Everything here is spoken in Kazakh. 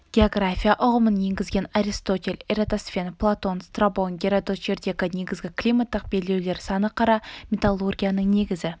география ұғымын енгізген аристотель эратосфен платон страбон геродот жердегі негізгі климаттық белдеулер саны қара металлургияның негізгі